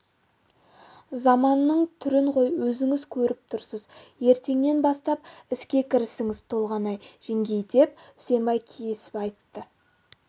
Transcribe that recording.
заманның түрін ғой өзіңіз көріп тұрсыз ертеңнен бастап іске кірісіңіз толғанай жеңгей деп үсенбай кесіп айтты